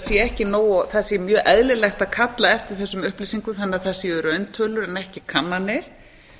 sé mjög eðlilegt að kalla eftir þessum upplýsingum þannig að það séu rauntölur en ekki kannanir